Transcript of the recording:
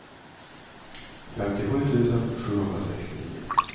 femtiosju tusen sjuhundrasextionio